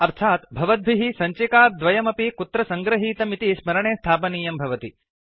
नाम भवद्भिः सञ्चिकाद्वयमपि कुत्र सङ्गृहीतम् इति स्मरणे स्थापनीयं भवति